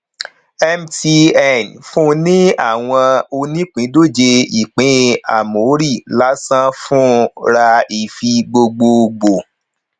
mtn fún ní àwọn onípindòjé ìpín ámórì lásán fún ra ifi gbogbogboo